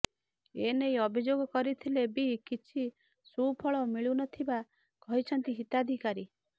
ଏନେଇ ଅଭିଯୋଗ କରିଥିଲେ ବି କିଛି ସୁଫଳ ମିଳୁନଥିବା କହିଛନ୍ତି ହିତାଧିକାରୀ